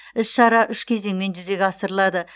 іс шара үш кезеңмен жүзеге асырылады